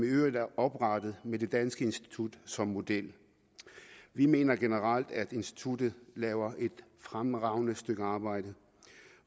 i øvrigt oprettet med det danske institut som model vi mener generelt at instituttet laver et fremragende stykke arbejde